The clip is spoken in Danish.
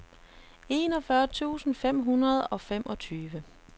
enogfyrre tusind fem hundrede og femogtyve